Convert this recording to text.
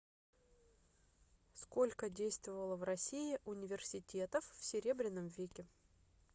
сколько действовало в россии университетов в серебряном веке